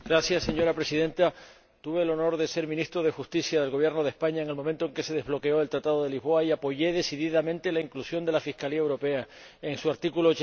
Señora Presidenta, tuve el honor de ser Ministro de Justicia del Gobierno de España en el momento en que se desbloqueó el Tratado de Lisboa y apoyé decididamente la inclusión de la Fiscalía Europea en su artículo